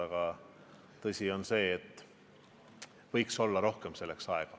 Aga tõsi on, et selleks võiks rohkem aega olla.